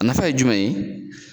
A nafa ye jumɛn ye